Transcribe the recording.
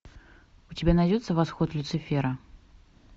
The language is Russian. у тебя найдется восход люцифера